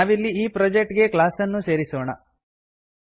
ನಾವಿಲ್ಲಿ ಈ ಪ್ರೊಜೆಕ್ಟ್ ಗೆ ಕ್ಲಾಸ್ ಅನ್ನು ಸೇರಿಸೋಣ